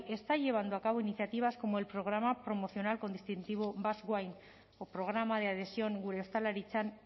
está llevando a cabo iniciativas como el programa promocionar con distintivo basque wine o programa de adhesión gure ostalaritzan